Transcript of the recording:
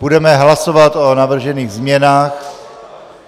Budeme hlasovat o navržených změnách.